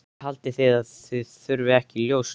Haldið þið að það þurfi ekki ljós líka?